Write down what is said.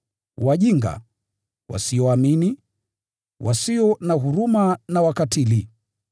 wajinga, wasioamini, wasio na huruma na wakatili.